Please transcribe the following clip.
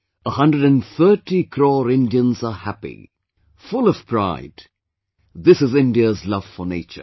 130 crore Indians are happy, full of pride; this is India's love for nature